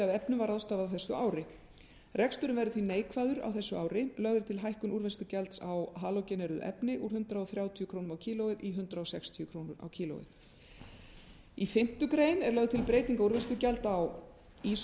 efnum var ráðstafað á þessu ári reksturinn verður því neikvæður á þessu ári lögð er til hækkun úrvinnslugjalds á halógeneruð efni úr hundrað þrjátíu krónur kílógrömm í fimmtu grein er lögð til breyting á úrvinnslugjald